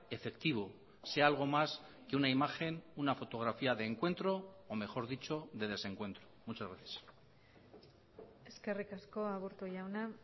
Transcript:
efectivo sea algo más que una imagen una fotografía de encuentro o mejor dicho de desencuentro muchas gracias eskerrik asko aburto jauna